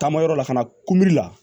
Taama yɔrɔ la ka na la